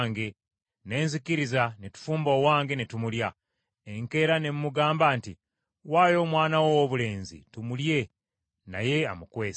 Ne nzikiriza, ne tufumba owange ne tumulya. Enkeera ne mugamba nti, ‘Waayo omwana wo owoobulenzi tumulye,’ naye amukwese.”